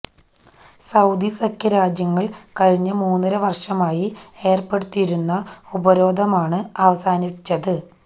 Saudi സഖ്യരാജ്യങ്ങൾ കഴിഞ്ഞ മൂന്നര വർഷമായി ഏർപ്പെടുത്തിയിരുന്ന ഉപരോധമാണ് അവസാനിച്ചത്